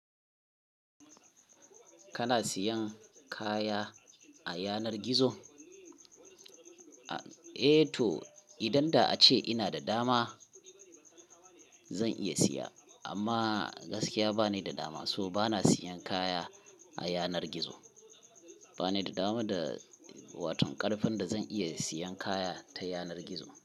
Kana siyan kaya a yanar gizo? Eh to idan da ace ina da dama zan iya siya amma gaskiya ba ni da dama so bana siyan kaya a yanar gizo. Ba ni da dama da watan karfin da zan iya siyan kaya ta yanar gizo.